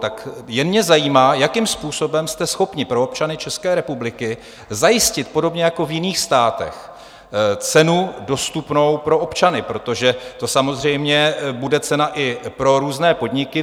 Jen mě zajímá, jakým způsobem jste schopni pro občany České republiky zajistit podobně jako v jiných státech cenu dostupnou pro občany, protože to samozřejmě bude cena i pro různé podniky.